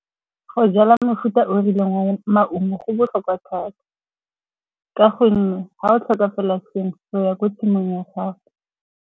Go jala mefuta o rileng wa maungo go botlhokwa thata ka gonne ga o tlhoka fela sengwe, o ya ko tshimong ya gago.